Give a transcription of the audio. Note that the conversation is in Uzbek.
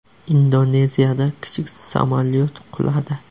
Indoneziyada kichik samolyot quladi.